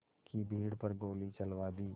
की भीड़ पर गोली चलवा दी